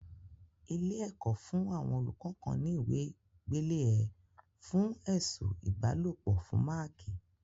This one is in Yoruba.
Ilé-ẹ̀kọ́ fún àwọn olùkọ́ kan ní ìwé gbélé ẹ̀ fún ẹ̀sù ìbálòpọ̀ fún máákì.